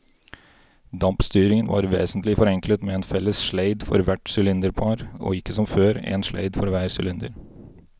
Dampstyringen var vesentlig forenklet med en felles sleid for hvert sylinderpar og ikke som før, en sleid for hver sylinder.